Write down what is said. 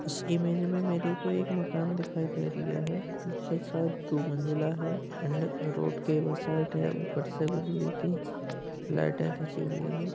इस इमेज में मेरे को एक मकान दिखाई दे रिया है जे शायद दो मंजिला है एंड रोड के उस साइड है ऊपर से बिजली की लाइटें खींची हुई हैं।